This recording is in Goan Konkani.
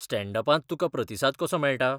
स्टॅण्ड अपांत तुका प्रतिसाद कसो मेळटा?